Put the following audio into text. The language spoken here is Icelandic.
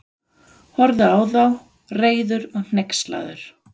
Horfði á þá, reiður og hneykslaður.